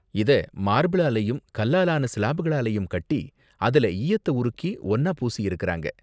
இத மார்பிளாலயும் கல்லால ஆன சிலாபுகளாலயும் கட்டி அதுல ஈயத்த உருக்கி ஒன்னா பூசியிருக்காங்க.